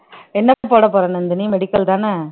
என்ன போடப்போற நந்தினி medical தானே